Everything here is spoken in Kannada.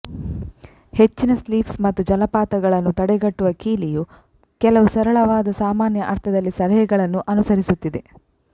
ಹೆಚ್ಚಿನ ಸ್ಲಿಪ್ಸ್ ಮತ್ತು ಜಲಪಾತಗಳನ್ನು ತಡೆಗಟ್ಟುವ ಕೀಲಿಯು ಕೆಲವು ಸರಳವಾದ ಸಾಮಾನ್ಯ ಅರ್ಥದಲ್ಲಿ ಸಲಹೆಗಳನ್ನು ಅನುಸರಿಸುತ್ತಿದೆ